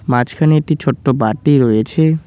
মাঝখানে একটি ছোট্ট বাটি রয়েছে।